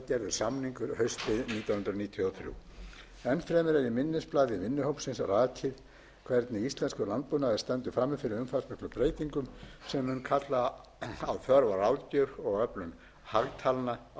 samningur haustið nítján hundruð níutíu og þrjú enn fremur er í minnisblaði vinnuhópsins rakið hvernig íslenskur landbúnaður stendur frammi fyrir umfangsmiklum breytingum sem munu kalla á þörf á ráðgjöf og öflun hagtalna á nýjum sviðum þá var þar einnig gerð grein fyrir